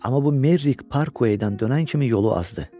Amma bu Merrik Parkveydən dönən kimi yolu azdı.